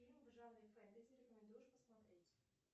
фильмы в жанре фэнтези рекомендуешь посмотреть